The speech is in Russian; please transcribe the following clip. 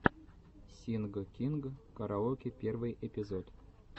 синг кинг караоке первый эпизод